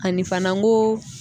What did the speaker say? Ani fana ko